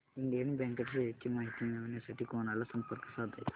Indian bank च्या shares ची माहिती मिळविण्यासाठी कोणाला संपर्क साधायचा